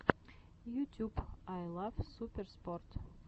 ютюб ай лав суперспорт